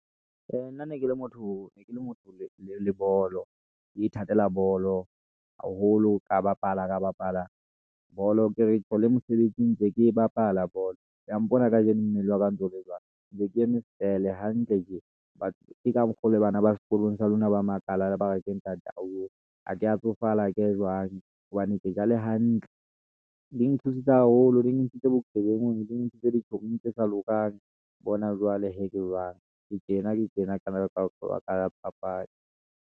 Nna ne ke le motho le bolo, ke ithatela bolo haholo ka bapala bolo, ke re ketjho le mosebetsing ntse ke e bapala bolo. Wa mpona kajeno mmele wa ka o ntsole jwalo ntse ke eme fele hantle tjena ke ka mokgo le bana ba sekolong sa lona ba makala. Bare, ke ntate wa hao oo. Ha ke ya tsofala hake jwang hobane ke ja le hantle. Di nthusitse haholo, di nthusitse bophelong di ntshitse di chommie-ng tse sa lokang. Bona jwale he ke jwang, ke tjena ke tjena ka baka la ho bapala dipapadi.